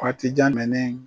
Waati jan